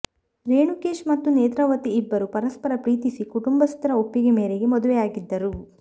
ರೇಣುಕೇಶ್ ಮತ್ತು ನೇತ್ರಾವತಿ ಇಬ್ಬರೂ ಪರಸ್ಪರ ಪ್ರೀತಿಸಿ ಕುಟುಂಬಸ್ಥರ ಒಪ್ಪಿಗೆ ಮೇರೆಗೆ ಮದುವೆಯಾಗಿದ್ದರು